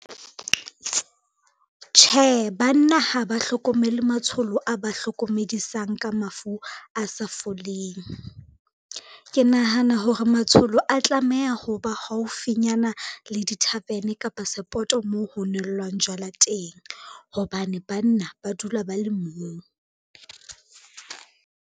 Tjhe, banna ha ba hlokomele matsholo a ba hlokomedisang ka mafu a sa foleng. Ke nahana hore matsholo a tlameha ho ba haufinyana le di-tarven kapa seppto moo ho nwellwang jwala teng hobane banna ba dula ba le moo.